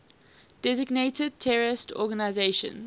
designated terrorist organizations